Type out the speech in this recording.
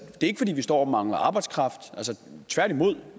ikke fordi vi står og mangler arbejdskraft tværtimod